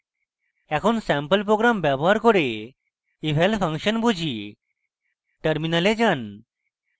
একটি sample program ব্যবহার করে eval ফাংশন বুঝি টার্মিনালে যান